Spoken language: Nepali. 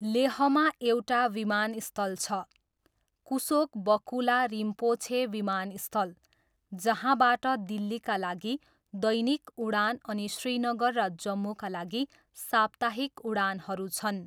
लेहमा एउटा विमानस्थल छ, कुसोक बकुला रिम्पोछे विमानस्थल, जहाँबाट दिल्लीका लागि दैनिक उडान अनि श्रीनगर र जम्मूका लागि साप्ताहिक उडानहरू छन्।